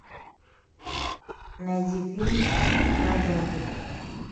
найди фильм про зомби